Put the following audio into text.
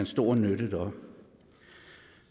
stor nytte deroppe